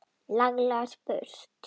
Laglega spurt!